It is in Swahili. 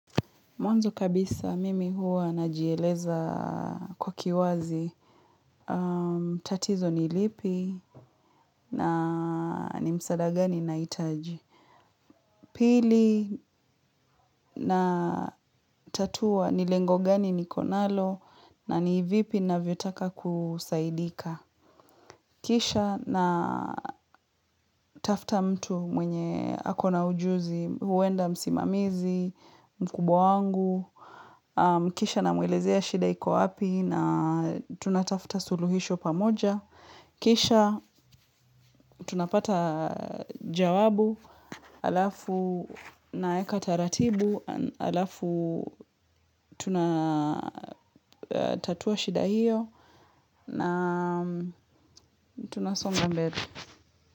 Mwanzo kabisa mimi huwa najieleza kwa kiwazi. Tatizo ni lipi na ni msaada gani nahitaji. Pili natatua ni lengo gani niko nalo na ni vipi navyotaka kusaidika. Kisha natafta mtu mwenye ako na ujuzi. Huenda msimamizi, mkubwa wangu. Kisha namwelezea shida iko wapi na tunatafta suluhisho pamoja. Kisha, tunapata jawabu, alafu naeka taratibu, alafu tunatatua shida hiyo na tunasonga mbele.